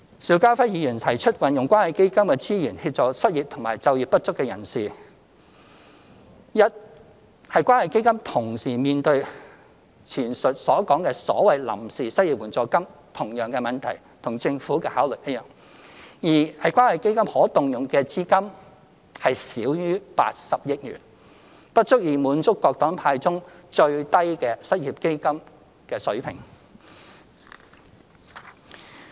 邵家輝議員提出運用關愛基金的資源協助失業及就業不足人士，一是關愛基金同時會面對前述所講的所謂臨時失業援助金的同樣問題，與剛才所說政府的考慮一樣；二是關愛基金可動用資金少於80億元，不足以滿足各黨派建議中最低的失業基金水平。